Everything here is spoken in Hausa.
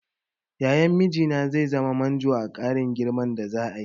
Yayan mijina zai zama manjo a ƙarin girman da za'a yi.